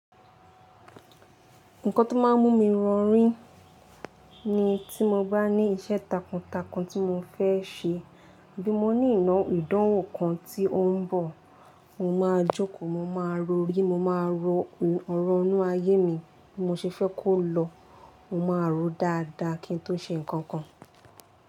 Nǹkan tó máa ń mú mi rorí ni tí mo bá ní iṣẹ́ takuntakun tí mo fẹ́ ṣe. Bí mo ní ìná ìdánwò kan tí ó ń bọ̀, mo máa jókòó, mo máa rorí, mo máa ro ọ̀rọ̀ inú ayé mi bí mo ṣe fẹ́ kó lọ, mo máa ròó dáadáa kí n tó ṣe ǹkan kan.